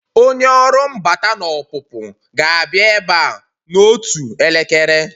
Onye ọrụ mbata na ọpụpụ ga-abịa ebe a n'otu elekere